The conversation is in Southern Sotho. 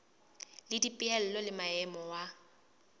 le dipehelo le maemo wa